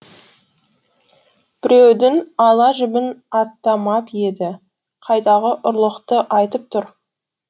біреудің ала жібін аттамап еді қайдағы ұрлықты айтып тұр